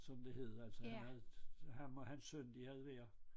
Som det hed altså han havde ham og hans søn de havde hver